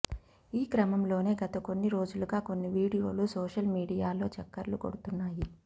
ఈ క్రమంలోనే గత కొన్ని రోజులుగా కొన్ని వీడియోలు సోషల్ మీడియాలో చక్కర్లు కొడుతున్నాయి